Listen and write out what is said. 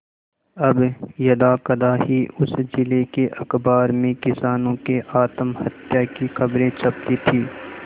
अब यदाकदा ही उस जिले के अखबार में किसानों के आत्महत्या की खबरें छपती थी